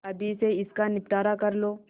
अभी से इसका निपटारा कर लो